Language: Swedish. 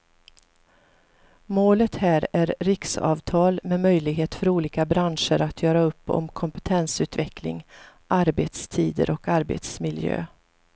Målet här är riksavtal med möjlighet för olika branscher att göra upp om kompetensutveckling, arbetstider och arbetsmiljö.